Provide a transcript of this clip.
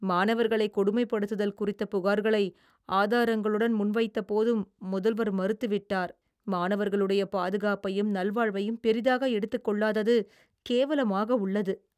மாணவர்களைக் கொடுமைப்படுத்துதல் குறித்த புகார்களை ஆதாரங்களுடன் முன்வைத்தபோதும், முதல்வர் மறுத்துவிட்டார். மாணவர்களுடைய பாதுகாப்பையும் நல்வாழ்வையும் பெரிதாக எடுத்துக் கொள்ளாதது கேவலமாக உள்ளது.